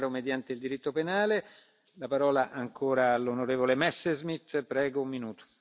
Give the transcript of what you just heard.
Es fundamental poner freno a Orbán pero, sobre todo, poner freno a sus políticas.